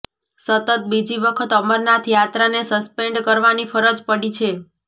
સતત બીજી વખત અમરનાથ યાત્રાને સસ્પેન્ડ કરવાની ફરજ પડી છે